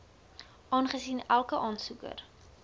aangesien elke aansoeker